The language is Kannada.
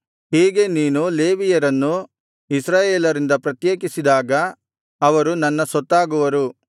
ಹೀಗೆ ನೀನು ಲೇವಿಯರನ್ನು ಇಸ್ರಾಯೇಲರಿಂದ ಪ್ರತ್ಯೇಕಿಸಿದಾಗ ಅವರು ನನ್ನ ಸೊತ್ತಾಗುವರು